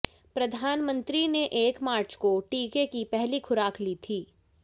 प्रधानमंत्री ने एक मार्च को टीके की पहली खुराक ली थी